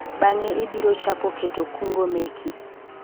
bang'e ibiro chako keto kungo meki